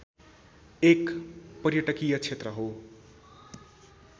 एक पर्यटकीय क्षेत्र हो।